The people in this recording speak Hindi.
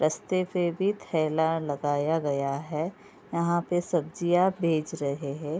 रस्ते पे भी थैला लगाया गया है। यहाँ पे सब्जियां बेच रहे है।